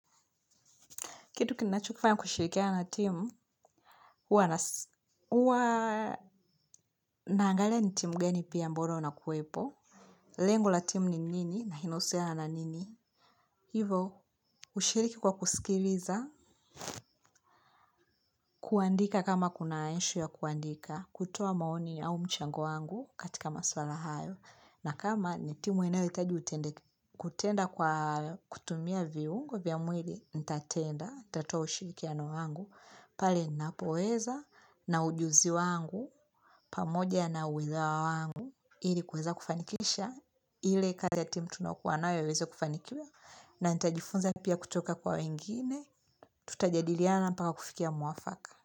Kitu kinachofaa kushirikiana na timu, huwa naangalia ni timu gani pia ambalo nakuwepo. Lengo la timu ni nini na inahusiana na nini. Hivyo hushirikii kwa kusikiliza, kuandika kama kuna ishu ya kuandika, kutoa maoni au mchango wangu katika masuala hayo. Na kama ni timu inayohitaji kutenda kwa kutumia viungo vya mwili, nitatenda, nitatoa ushirikiano wangu. Pale ninapoweza na ujuzi wangu, pamoja na uweza wangu, ilikuweza kufanikisha, ile kazi ya timu tunayo kuwa nayo iweze kufanikiwa, na nita jifunza pia kutoka kwa wengine, tutajadiliana mpaka kufikia mwafaka.